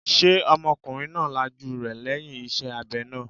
Ṣé ọmọkùnrin náà lajú rẹ̀ lẹ́yìn iṣẹ́ abẹ náà?